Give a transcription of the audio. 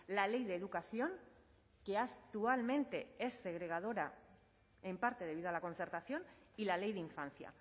la ley de educación que actualmente es segregadora en parte debido a la concertación y la ley de infancia